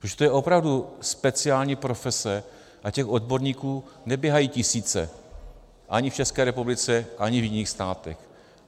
Protože to je opravdu speciální profese a těch odborníků neběhají tisíce ani v České republice, ani v jiných státech.